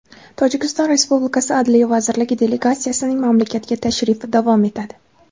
Tojikiston Respublikasi Adliya vazirligi delegatsiyasining mamlakatga tashrifi davom etadi.